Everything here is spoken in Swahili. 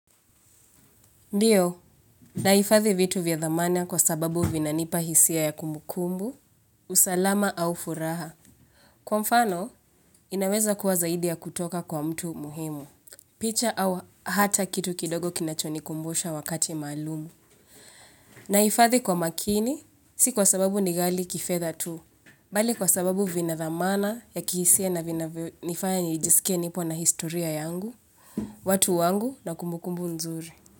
Ndiyo, naifadhi vitu vya dhamana kwa sababu vinanipa hisia ya kumbukumbu, usalama au furaha. Kwa mfano, inaweza kuwa zaidi ya kutoka kwa mtu muhimu, picha au hata kitu kidogo kinachoni kumbusha wakati malumu. Naifadhi kwa makini, si kwa sababu nigali kifedha tu, bali kwa sababu vina thamana ya kihisia na vina nifanya nijisike nipo na historia yangu, watu wangu na kumbukumbu nzuri.